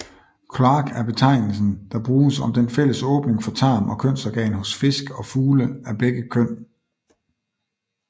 Kloak er betegnelsen der bruges om den fælles åbning for tarm og kønsorgan hos fisk og fugle af begge køn